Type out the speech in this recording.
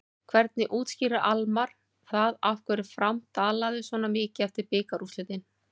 Hvernig útskýrir Almarr það af hverju Fram dalaði svona mikið eftir bikarúrslitin?